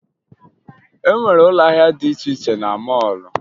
E nwere ụlọ ahịa dị iche iche na mọọlụ